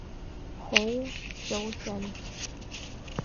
хоу сяосянь